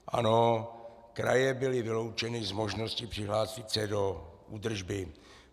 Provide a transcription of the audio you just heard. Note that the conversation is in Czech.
Ano, kraje byly vyloučeny z možnosti přihlásit se do údržby.